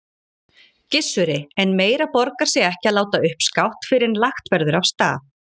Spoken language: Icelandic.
Gissuri, en meira borgar sig ekki að láta uppskátt fyrr en lagt verður af stað.